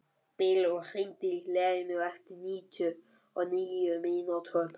Bylur, hringdu í Leoníu eftir níutíu og níu mínútur.